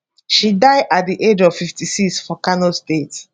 she die at di age of 56 for kano state